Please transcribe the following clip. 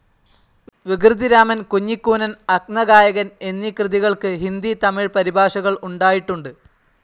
വികൃതിരാമൻ, കുഞ്ഞിക്കൂനൻ, അന്ധഗായകൻ എന്നീ കൃതികൾക്ക് ഹിന്ദി, തമിഴ് പരിഭാഷകൾ ഉണ്ടായിട്ടുണ്ട്.